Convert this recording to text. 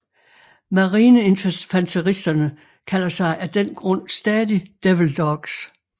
Marineinfanteristerne kalder sig af den grund stadig Devil Dogs